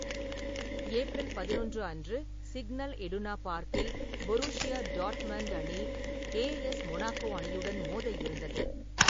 April பதினொன்று அன்று, Signal Iduna பார்க்கில் பொருஷியா டாட்மண்ட் அணி ஏஎஸ் மொனாக்கோ அணியுடன் மோத இருந்தது.